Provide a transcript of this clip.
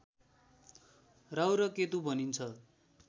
राहु र केतु भनिन्छ